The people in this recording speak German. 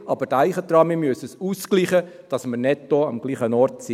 Aber denken Sie daran, wir müssen es ausgleichen, damit wir netto am gleichen Ort sind.